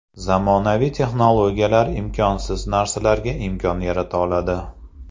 Zamonaviy texnologiyalar imkonsiz narsalarga imkon yarata oladi.